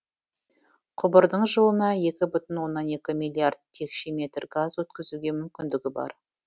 құбырдың жылына екі бүтін оннан екі миллиард текше метр газ өткізуге мүмкіндігі бар